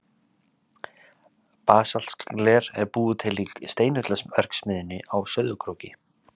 Basaltgler er búið til í Steinullarverksmiðjunni á Sauðárkróki.